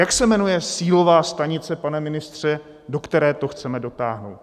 Jak se jmenuje cílová stanice, pane ministře, do které to chceme dotáhnout?